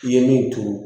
I ye min turu